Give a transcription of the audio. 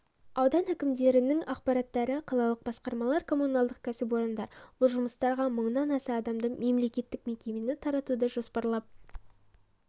аудан әкімдерінің аппараттары қалалық басқармалар коммуналдық кәсіпорындар бұл жұмыстарға мыңнан аса адамды мемлекеттік мекемені тартуды жоспарлап